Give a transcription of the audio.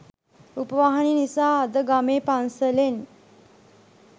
රූපවාහිනිය නිසා අද ගමේ පන්සලෙන්